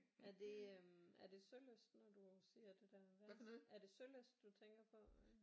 Er det øh er det Sølyst når du siger det der er det Sølyst du tænker på øh